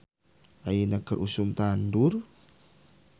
"Ayeuna keur usum tandur "